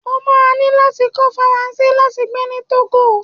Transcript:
ó máa ní láti kọ́ Faransé láti gbé ní Togo.